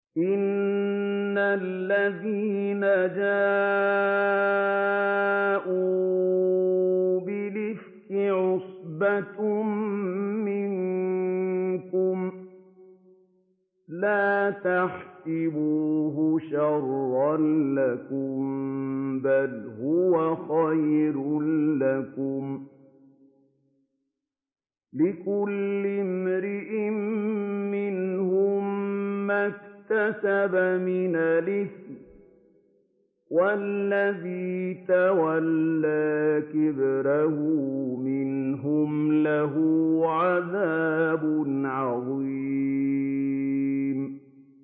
إِنَّ الَّذِينَ جَاءُوا بِالْإِفْكِ عُصْبَةٌ مِّنكُمْ ۚ لَا تَحْسَبُوهُ شَرًّا لَّكُم ۖ بَلْ هُوَ خَيْرٌ لَّكُمْ ۚ لِكُلِّ امْرِئٍ مِّنْهُم مَّا اكْتَسَبَ مِنَ الْإِثْمِ ۚ وَالَّذِي تَوَلَّىٰ كِبْرَهُ مِنْهُمْ لَهُ عَذَابٌ عَظِيمٌ